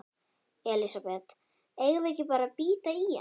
Elísabet: Eigum við ekki bara að bíta í hann?